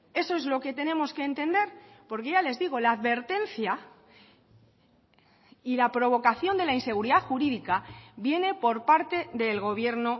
eso es lo que tenemos que entender porque ya les digo la advertencia y la provocación de la inseguridad jurídica viene por parte del gobierno